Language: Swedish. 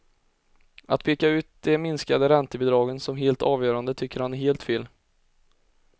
Att peka ut de minskade räntebidragen som helt avgörande tycker han är helt fel.